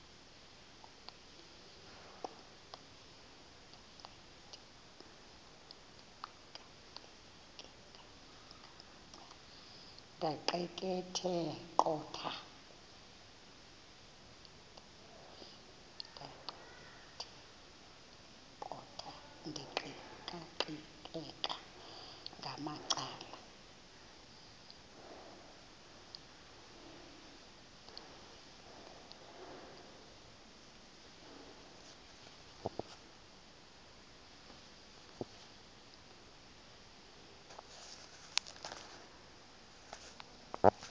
ndaqetheqotha ndiqikaqikeka ngamacala